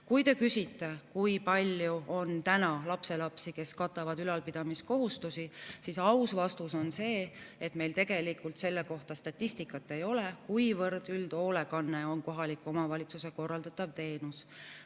Kui te küsite, kui palju on lapselapsi, kes ülalpidamiskohustust, siis aus vastus on see, et meil tegelikult selle kohta statistikat ei ole, kuivõrd üldhoolekanne on kohaliku omavalitsuse korraldatav teenus.